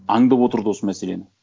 аңдып отырды осы мәселені